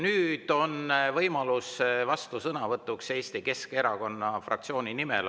Nüüd on võimalus vastusõnavõtuks Eesti Keskerakonna fraktsiooni nimel.